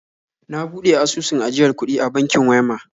Na buɗe asusun ajiyar kuɗi a bankin Wema